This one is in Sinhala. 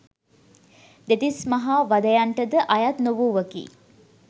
දෙතිස් මහා වධයන්ට ද අයත් නොවූවකි.